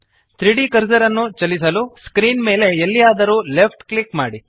3ದ್ ಕರ್ಸರ್ ಅನ್ನು ಚಲಿಸಲು ಸ್ಕ್ರೀನ್ ಮೇಲೆ ಎಲ್ಲಿಯಾದರೂ ಲೆಫ್ಟ್ ಕ್ಲಿಕ್ ಮಾಡಿ